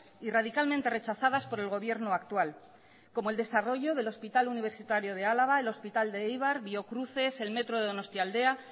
y radicalmente rechazadas por el gobierno actual como el desarrollo del hospital universitario de álava el hospital de eibar biocruces el metro de donostialdea